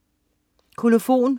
Kolofon